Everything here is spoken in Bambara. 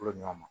Ko ɲɔ ma